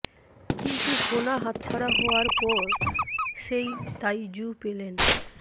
কিন্তু সোনা হাতছাড়া হওয়ার পর সেই তাই জু পেলেন